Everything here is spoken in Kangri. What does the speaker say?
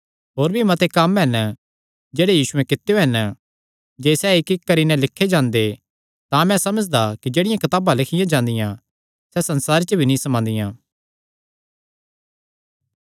होर भी मते कम्म हन जेह्ड़े यीशुयैं कित्यो हन जे सैह़ इक्कइक्क करी नैं लिखे जांदे तां मैं समझदा कि जेह्ड़ियां कताबां लिखियां जांदियां सैह़ संसारे च भी नीं समांदियां